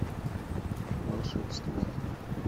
волшебство